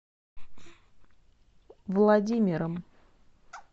владимиром